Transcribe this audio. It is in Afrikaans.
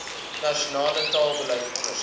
nasionale taalbeleid onderskat